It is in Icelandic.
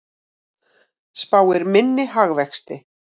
Spáir minni hagvexti